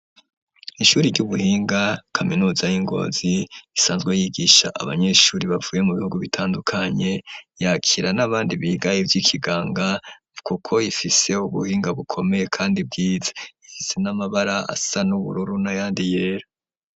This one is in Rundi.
Ishuri ry'ubuhinga kaminuza y'ingozi isanzwe yigisha abanyeshuri bavuye mu bihugu bitandukanye yakira n'abandi bigaye ivyo ikiganga nukuko ifiseho buhinga bukomeye, kandi bwiza ivizi n'amabara asa n'ubururu na yandi yera.